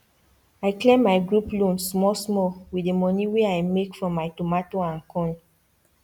i clear my group loan small small with the moni wey i make from my tomato and corn